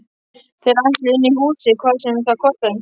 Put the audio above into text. Þeir ætluðu inn í húsið hvað sem það kostaði.